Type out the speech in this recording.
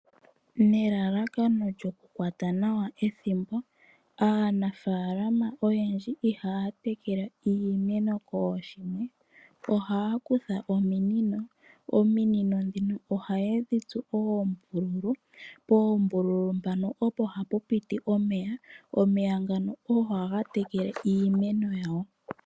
Nelalakano lyoku kwata nawa ethimbo, aanafalama ihaya tekele oshimeno kooshimwe, ohaya kutha ominino, ominino dhini ohaye dhi tsu oombululu, po poombululu mpano opo hapu piti omeya, omeya ngano ogo haga tekele iimeno yawo.